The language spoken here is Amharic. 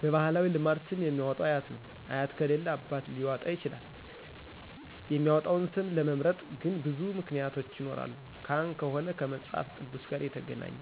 በባህላዊ ልማድ ስም የሚያወጣው አያት ነው አያት ከሌለ አባት ሊያወጣ ይችላል የሚመጣውን ስም ለመምረጥ ግን ብዙ ምክንያቶች ይኖራሉ ካህን ከሆነ ከመጽሐፍ ቅዱስ ጋር የተገናኘ